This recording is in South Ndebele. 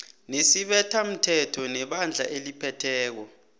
nesibethamthetho nebandla eliphetheko